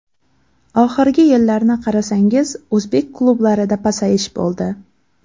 Oxirgi yillarni qarasangiz o‘zbek klublarida pasayish bo‘ldi.